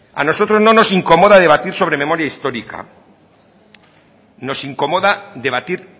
a nosotros no nos incomoda debatir sobre memoria histórica nos incomoda debatir